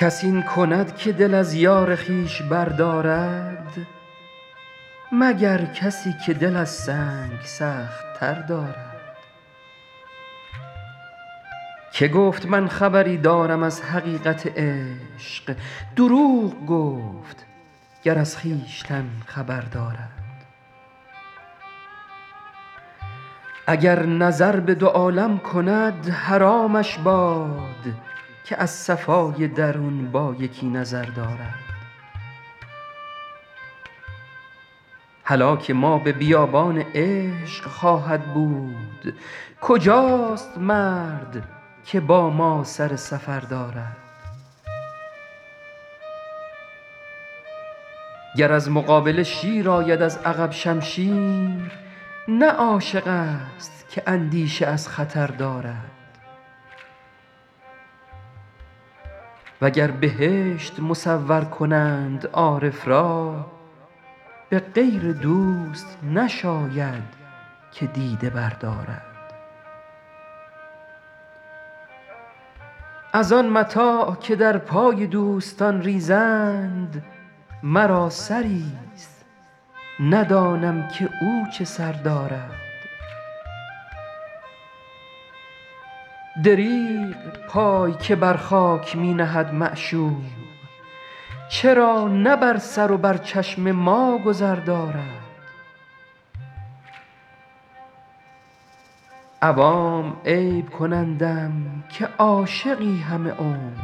کس این کند که دل از یار خویش بردارد مگر کسی که دل از سنگ سخت تر دارد که گفت من خبری دارم از حقیقت عشق دروغ گفت گر از خویشتن خبر دارد اگر نظر به دو عالم کند حرامش باد که از صفای درون با یکی نظر دارد هلاک ما به بیابان عشق خواهد بود کجاست مرد که با ما سر سفر دارد گر از مقابله شیر آید از عقب شمشیر نه عاشق ست که اندیشه از خطر دارد و گر بهشت مصور کنند عارف را به غیر دوست نشاید که دیده بردارد از آن متاع که در پای دوستان ریزند مرا سری ست ندانم که او چه سر دارد دریغ پای که بر خاک می نهد معشوق چرا نه بر سر و بر چشم ما گذر دارد عوام عیب کنندم که عاشقی همه عمر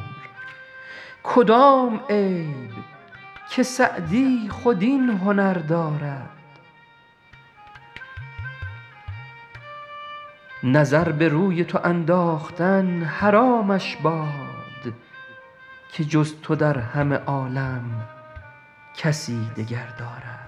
کدام عیب که سعدی خود این هنر دارد نظر به روی تو انداختن حرامش باد که جز تو در همه عالم کسی دگر دارد